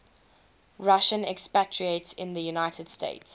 russian expatriates in the united states